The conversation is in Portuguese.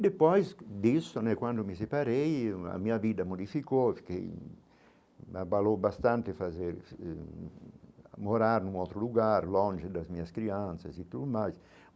E depois disso né, quando me separei, a minha vida modificou, eu fiquei me abalou bastante fazer, morar num outro lugar longe das minhas crianças e tudo mais.